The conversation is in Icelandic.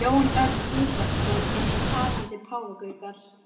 Jón Örn Guðbjartsson: Eins og talandi páfagaukar?